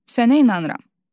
Sənə inanıram.